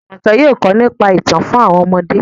Jumoke yóò kọ nípa itan fun àwọn ọmọde.